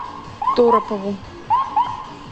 торопову